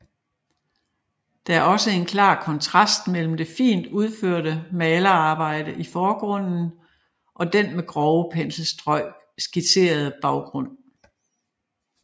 Der er også en klar kontrast mellem det fint udførte malearbejde i forgrunden og den med grove penselstrøg skitserede baggrund